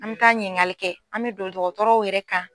An mɛ taa ɲininkali kɛ an mɛ don dɔgɔtɔrɔw yɛrɛ kan.